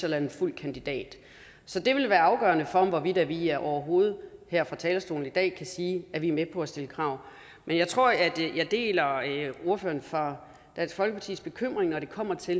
eller en fuld kandidat så det vil være afgørende for hvorvidt vi overhovedet her fra talerstolen i dag kan sige at vi er med på at stille krav men jeg tror at jeg deler ordføreren fra dansk folkepartis bekymring når det kommer til